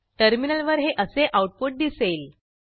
टर्मिनलवर हे असे आऊटपुट दिसेल